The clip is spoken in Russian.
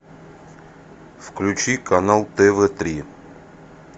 включи канал тв три